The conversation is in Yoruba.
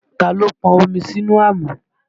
Ta ló pọn omi sí àmù?